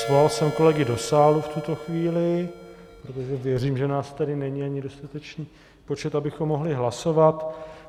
Svolal jsem kolegy do sálu v tuto chvíli, protože věřím, že nás tady není ani dostatečný počet, abychom mohli hlasovat.